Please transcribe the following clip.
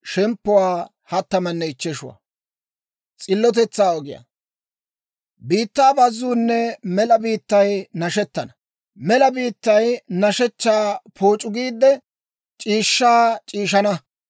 Biittaa bazzuunne mela biittay nashettana; Mela biittay nashshechchaa pooc'u giidde, c'iishshaa c'iishshaana.